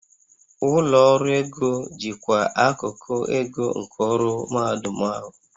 Ụlọ ọrụ ego jikwaa akụkụ ego nke ọrụ mahadum ahụ